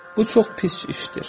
Bu çox pis işdir.